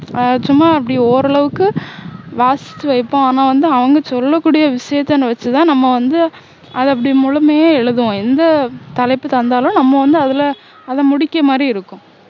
ஆஹ் சும்மா அப்படி ஓரளவுக்கு வாசிச்சு வைப்போம் ஆனா வந்து அவங்க சொல்லக்கூடிய விஷயத்த வச்சுதான் நம்ம வந்து அதை அப்படி முழுமையா எழுதுவோம் எந்த தலைப்பு தந்தாலும் நம்ம வந்து அதுல அதை முடிக்க மாதிரி இருக்கும்